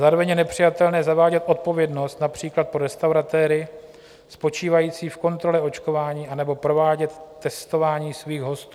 Zároveň je nepřijatelné zavádět odpovědnost například pro restauratéry spočívající v kontrole očkování anebo provádět testování svých hostů.